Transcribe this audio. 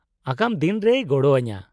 -ᱟᱜᱟᱢ ᱫᱤᱱ ᱨᱮᱭ ᱜᱚᱲᱚ ᱟᱹᱧᱟᱹ ᱾